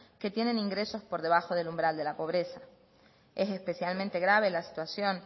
que tienen ingresos por debajo del umbral de la pobreza es especialmente grave la situación